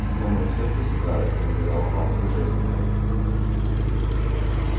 но моё сердце всегда принадлежало вам вы же это знаете